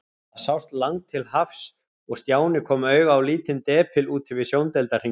Það sást langt til hafs og Stjáni kom auga á lítinn depil úti við sjóndeildarhringinn.